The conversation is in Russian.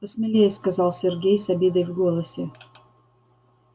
посмелее сказал сергей с обидой в голосе